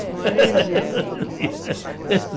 Um ano e um dia.